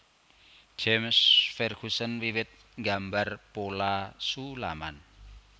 James Ferguson wiwit nggambar pola sulaman